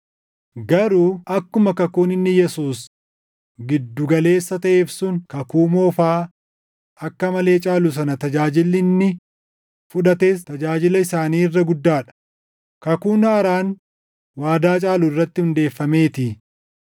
Garuu akkuma kakuun inni Yesuus gidduu galeessa taʼeef sun kakuu moofaa akka malee caalu sana tajaajilli inni fudhates tajaajila isaanii irra guddaa dha; kakuun haaraan waadaa caalu irratti hundeeffameetii.